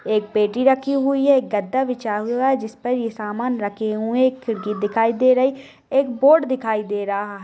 एक पेटी रखी हुई है। एक गद्दा बिछा हुआ है। जिसपर ये समान रखे हुए है। एक खिड़की दिखाई दे रहे है। एक बोर्ड दिखाई दे रहा है।